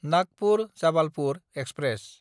Nagpur-Jabalpur express